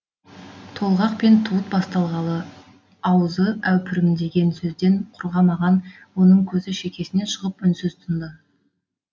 толғақ пен туыт басталғалы аузы әупірімдеген сөзден құрғамаған оның көзі шекесінен шығып үнсіз тынды